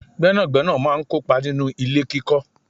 Gbẹ́nàgbẹ́nà máa ń kópa nínú ilé kíkọ